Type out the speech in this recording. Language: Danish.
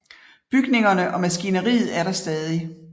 Bygningerne og maskineriet er der stadig